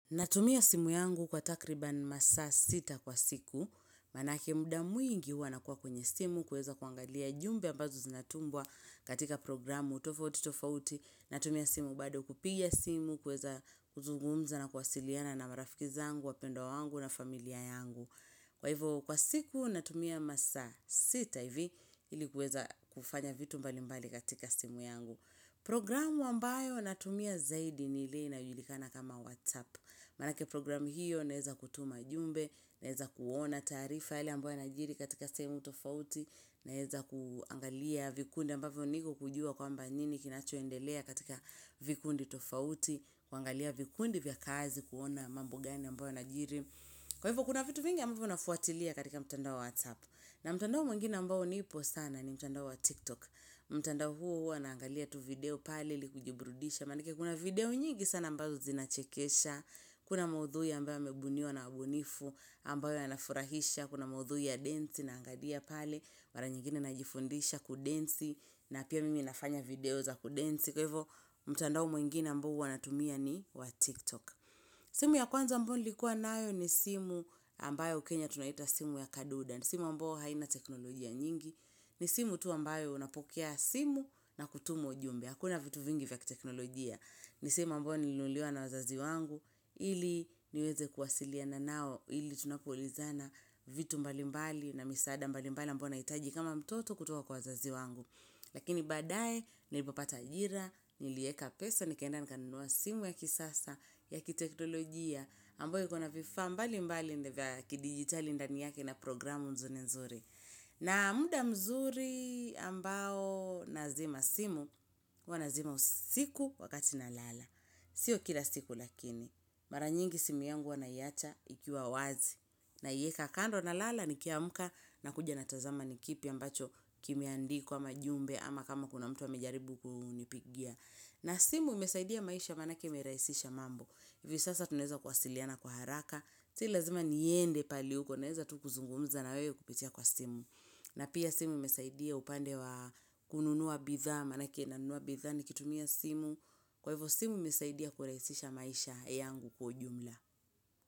Natumia simu yangu kwa takribani masaa sita kwa siku, manake muda mwingi huwa nakuwa kwenye simu, kuweza kuangalia jumbe ambazo zinatumwa katika programu tofauti tofauti, natumia simu bado kupiga simu, kuweza kuzugumza na kuwasiliana na marafiki zangu, wapendwa wangu na familia yangu. Kwa hivyo, kwa siku natumia masaa sita hivi ili kuweza kufanya vitu mbali mbali katika simu yangu. Programu ambayo natumia zaidi ni ile inayolikana kama WhatsApp Manake programu hiyo naeza kutuma ujumbe, naeza kuona taarifa yale ambayo yanajiri katika sehemu tofauti Naeza kuangalia vikundi ambavyo niko kujua kwamba nini kinachoendelea katika vikundi tofauti kuangalia vikundi vya kazi kuona mambo gani ambayo yanajiri Kwa hivyo kuna vitu mingi ambayo nafuatilia katika mtandao wa WhatsApp na mtandao mwngine ambao nipo sana ni mtandao wa TikTok mtandao huo huwa naangalia tu video pale ili kujiburudisha Manake kuna video nyingi sana ambazo zinachekesha Kuna maudhui ya ambayo yamebuniwa na ubunifu ambayo yanafurahisha Kuna maudhui ya dance naangalia pale mara nyingine najifundisha kudensi na pia mimi nafanya video za kudensi Kwa hivo mtandao mwingine ambayo huwa natumia ni wa TikTok simu ya kwanza ambayo nilikuwa nayo ni simu ambayo huku kenya tunaita simu ya kadude simu ambayo haina teknolojia nyingi ni simu tu ambayo unapokea simu na kutuma ujumbe. Hakuna vitu vingi vya kiteknolojia. Ni simu ambayo nilinunuliwa na wazazi wangu ili niweze kuwasiliana nao ili tunapoulizana vitu mbali mbali na misaada mbali mbali ambavyo nahitaji kama mtoto kutoka kwa wazazi wangu. Lakini baadaye nilipopata ajira, nilieka pesa, nikaenda nikanua simu ya kisasa, ya kiteknolojia. Amboyo iko na vifaa mbali mbali vya kidigitali ndani yake na programu nzuri nzuri. Na muda mzuri ambao nazima simu, huwa nazima usiku wakati nalala. Sio kila siku lakini, mara nyingi simu yangu huwa naiacha ikiwa wazi. Naieka kando nalala nikiamuka nakuja natazama ni kipi ambacho kimeandikwa majumbe ama kama kuna mtu amejaribu kunipigia. Na simu imesaidia maisha manake imerahisisha mambo. Hivyo sasa tunaeza kuwasiliana kwa haraka, si lazima niende pali huko, naeza tu kuzungumza na wewe kupitia kwa simu. Na pia simu imesaidia upande wa kununua bithaa, manake nanua bithaa nikitumia simu, kwa hivyo simu imesaidia kurahisisha maisha yangu kwa ujumla.